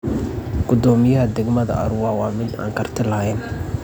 Gudoomiyaha degmada Arua waa mid aan karti lahayn.